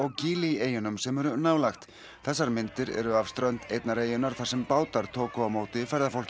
gili eyjunum sem eru nálægt þessar myndir eru af strönd einnar eyjunnar þar sem bátar tóku á móti